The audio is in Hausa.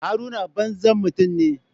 Haruna banzan mutum ne.